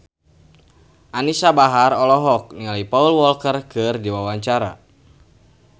Anisa Bahar olohok ningali Paul Walker keur diwawancara